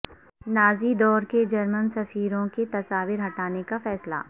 Nazi دور کے German سفیروں کی تصاویر ہٹانے کا فیصلہ